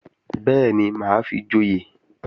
Bẹ́ẹ̀ni, mà á fi joyè